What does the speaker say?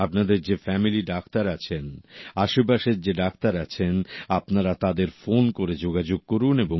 আপনাদের যে family doctor আছেন আশেপাশের যে ডাক্তার আছেন আপনারা তাদের ফোন করে যোগাযোগ করুন